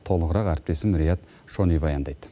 толығырақ әріптесім рият шони баяндайды